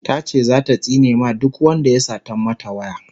tace zata tsine ma duk Wanda ya Satan mata waya